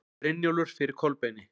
Brynjólfur fyrir Kolbeini.